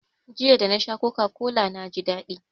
Jiya, da na sha coca-cola na ji daɗi.